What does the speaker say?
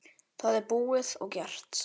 Það er búið og gert!